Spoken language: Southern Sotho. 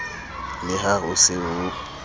le ha ho se ho